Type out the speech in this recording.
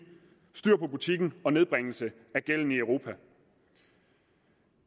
styr på butikken og nedbringelse af gælden i europa